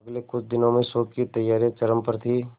अगले कुछ दिनों में शो की तैयारियां चरम पर थी